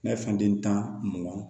N'a ye fɛn den tan mugan